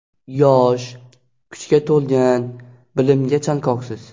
Yosh, kuchga to‘lgan, bilimga chanqoqsiz.